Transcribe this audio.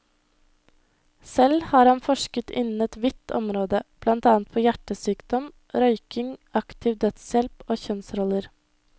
Selv har han forsket innen et vidt område, blant annet på hjertesykdom, røyking, aktiv dødshjelp og kjønnsroller.